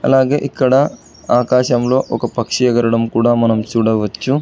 అలాగే ఇక్కడ ఆకాశంలో ఒక పక్షి ఎగరడం కూడ మనం చూడవచ్చు.